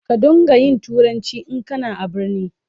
Ka don ga yin turanci in kana a birni.